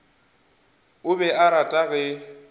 o be a rata ge